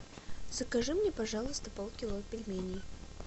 закажи мне пожалуйста полкило пельменей